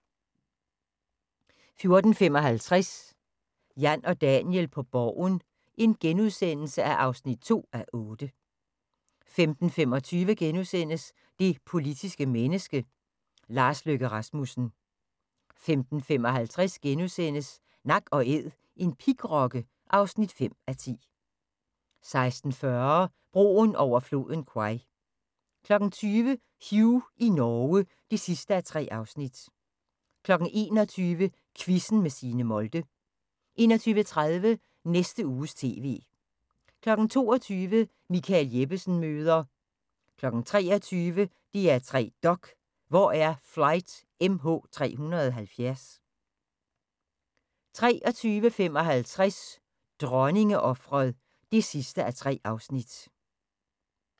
14:55: Jan og Daniel på Borgen (2:8)* 15:25: Det politiske menneske - Lars Løkke Rasmussen * 15:55: Nak & Æd – en pigrokke (5:10)* 16:40: Broen over floden Kwai 20:00: Hugh i Norge (3:3) 21:00: Quizzen med Signe Molde 21:30: Næste Uges TV 22:00: Michael Jeppesen møder ... 23:00: DR3 Dok: Hvor er Flight MH370? 23:55: Dronningeofret (3:3)